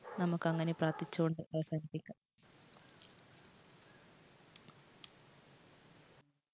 നമുക്ക് അങ്ങനെ പ്രാർത്ഥിച്ചുകൊണ്ട് അവസാനിപ്പിക്കാം.